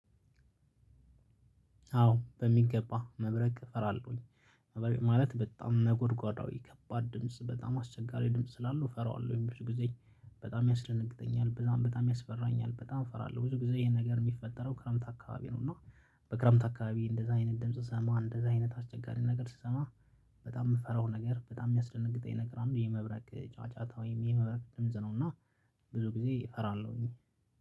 አዎ በሚገባ መብረቅ እፈራለሁኝ። መብረቅ ማለት በጣም ነጎድጓዳዊ ከባድ ድምጽ በጣም አስቸጋሪ ድምጽ ስላለው እፈራዋለሁ ብዙ ጊዜ። በጣም ያስደነግጠኛል በጣም በጣም ያስፈራኛል በጣም እፈራለሁ ብዙ ጊዜ ይሄን ነገር የሚፈጠረው ክረምት አካባቢ ነው። እና በክረምት አካባቢ እንደዛ አይነት ድምጽ ስሰማ እንደዛ አይነት አስቸጋሪ ነገር ስሰማ። በጣም የምፈራው ነገር በጣም የሚያስደነግጠኝ ነገር አንድ የመብረቅ ጫጫታ ወይም የመብረቅ ድምጽ ነው። እና ብዙ ጊዜ እፈራለሁኝ።